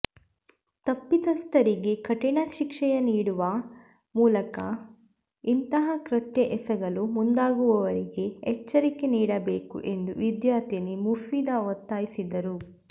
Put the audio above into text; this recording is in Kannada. ತಪ್ಪಿತಸ್ಥರಿಗೆ ಕಠಿಣ ಶಿಕ್ಷೆಯ ನೀಡುವ ಮೂಲಕ ಇಂತಹ ಕೃತ್ಯ ಎಸಗಲು ಮುಂದಾಗುವವರಿಗೆ ಎಚ್ಚರಿಕೆ ನೀಡಬೇಕು ಎಂದು ವಿದ್ಯಾರ್ಥಿನಿ ಮುಫೀದಾ ಒತ್ತಾಯಿಸಿದರು